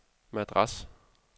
Madras